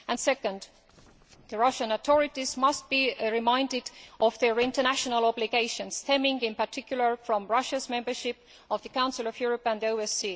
Second, the Russian authorities must be reminded of their international obligations stemming, in particular, from Russia's membership of the Council of Europe and the OSCE.